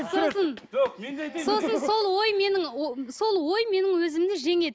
сосын сол ой менің сол ой менің өзімді жеңеді